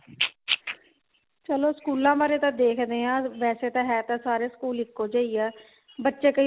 ਚੱਲੋ ਸਕੂਲਾਂ ਬਾਰੇ ਤਾਂ ਦੇਖਦੇ ਹਾਂ ਵੈਸੇ ਤਾਂ ਹੈ ਤਾ ਸਾਰੇ ਸਕੂਲ ਇੱਕੋ ਜਿਹੇ ਆ ਬੱਚੇ ਕਈ